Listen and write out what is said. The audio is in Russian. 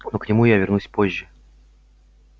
но к нему я вернусь позже